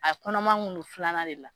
A kɔnɔman kun non filanan de la